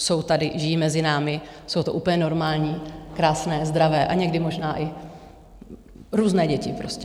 Jsou tady, žijí mezi námi, jsou to úplně normální, krásné, zdravé, a někdy možná i různé děti prostě.